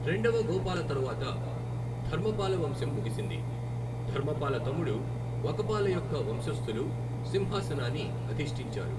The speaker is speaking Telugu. రెండవ గోపాల తరువాత, ధర్మపాల వంశం ముగిసింది, ధర్మపాల తమ్ముడు వకపాల యొక్క వంశస్థులు సింహాసనాన్ని అధిష్టించారు.